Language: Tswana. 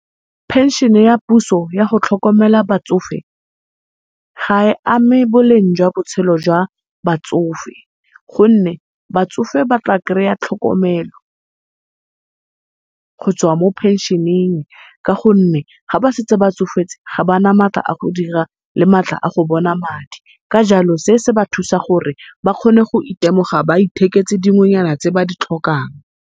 Pension-e ya puso yago tlhokomela batsofe ha e ame boleng jwa botshelo jwa batsofe, gonne batsofe batla kry-a tlhokomelo gotswa mo pension-eng, ka gonne ga ba setse ba tsofetse ga ba na matla a go dira le matla a go bona madi. Ka jalo se se ba thusa gore ba kgone go iteboga ba itheketse dingwenyana tse ba ditlhokang.